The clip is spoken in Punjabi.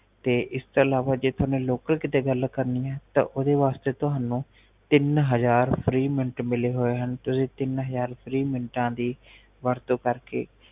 ਤੇ ਇਸਤੋਂ ਇਲਾਵਾ ਜੇ ਲੋਕਲ ਕੀਤੇ ਤੁਹਾਨੂੰ ਗੱਲ ਕਰਨੀ ਹੈ ਤਾ ਓਹਦੇ ਵਾਸਤੇ ਤੁਹਾਨੂੰ ਤਿਨ ਹਜਾਰ ਫ੍ਰੀ ਮਿੰਟ ਮਿਲੈ ਹੋਏ ਹਨ ਤੁਸੀ ਤਿਨ ਹਜਾਰ ਫ੍ਰੀ ਮਿੰਟਾ ਦੀ ਵਰਤੋਂ ਕਰਕੇ